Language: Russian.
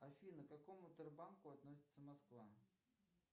афина к какому тербанку относится москва